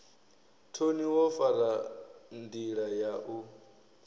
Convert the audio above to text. thoni wo fara ndila yau